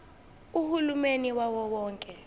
uhulumeni wawo wonke